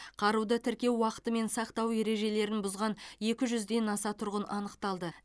қаруды тіркеу уақыты мен сақтау ережелерін бұзған екі жүзден аса тұрғын анықталды